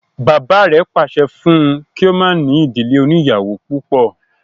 Bàbá rẹ̀ pàṣẹ fún un kí o má ní ìdílé oníyàwó púpọ̀